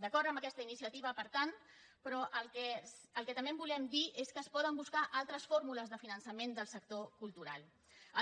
d’acord amb aquesta iniciativa per tant però el que també volem dir és que es poden buscar altres fórmules de finançament del sector cultural